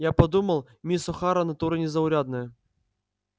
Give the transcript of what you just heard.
я подумал мисс охара натура незаурядная